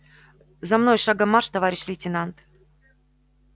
за мной шагом марш товарищ лейтенант